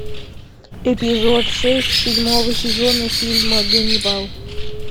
эпизод шесть седьмого сезона фильма ганнибал